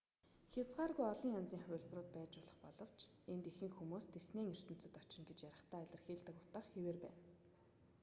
хязгааргүй олон янзын хувилбарууд байж болох боловч энд ихэнх хүмүүс диснейн ертөнцөд очно гэж ярихдаа илэрхийлдэг утга хэвээр байна